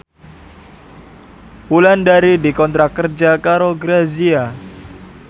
Wulandari dikontrak kerja karo Grazia